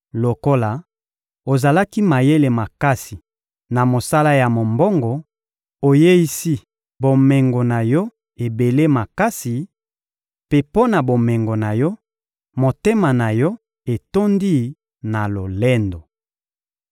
Lokola ozalaki mayele makasi na mosala ya mombongo, oyeisi bomengo na yo ebele makasi; mpe mpo na bomengo na yo, motema na yo etondi na lolendo.